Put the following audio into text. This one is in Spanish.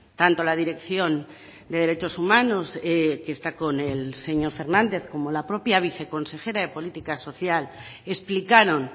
tanto la dirección de derechos humanos que está con el señor fernández como la propia viceconsejera de política social explicaron